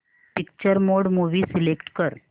picture mode movie select कर